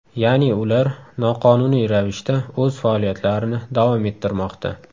Ya’ni ular noqonuniy ravishda o‘z faoliyatlarini davom ettirmoqda.